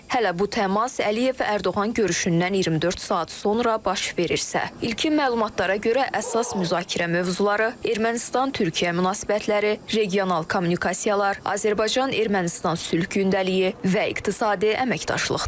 Hələ bu təmas Əliyev Ərdoğan görüşündən 24 saat sonra baş verirsə, ilkin məlumatlara görə əsas müzakirə mövzuları Ermənistan-Türkiyə münasibətləri, regional kommunikasiyalar, Azərbaycan-Ermənistan sülh gündəliyi və iqtisadi əməkdaşlıqdır.